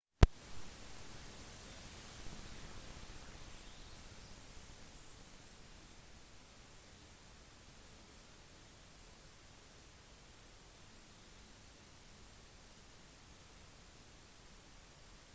den militaristiske naturen av det romerske imperiet har vært til stor hjelp i den medisinske utviklingen